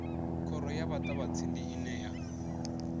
khoro ya muṱavhatsindi ine ya